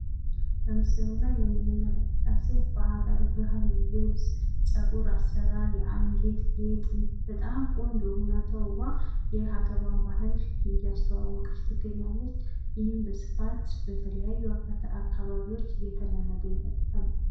በምስሉ ላይ የምንመልከታት ሴት በሃገር ባህል ልብስ፣ ጸጉር አሰራር ፣ የአንገት ጌጥ በጣም ቆንጆ ሁና ተዉባ የሀገሯን ባህል እያስተዋወቀች ትገኛለች። ይህም በስፋት በተለያዩ የጎንደር አካባቢዎች የተለመደ ሲስተም ነው።